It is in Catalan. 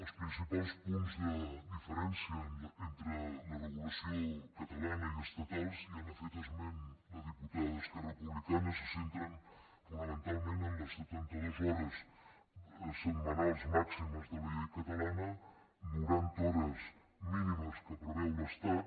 els principals punts de diferència entre la regulació catalana i estatal ja n’ha fet esment la diputada d’esquerra republicana se centren fonamentalment en les setanta dues hores setmanals màximes de la llei catalana noranta hores mínimes que preveu l’estat